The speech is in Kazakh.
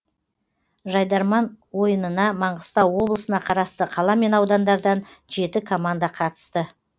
жайдарман ойынына маңғыстау облысына қарасты қала мен аудандардан жеті команда қатысты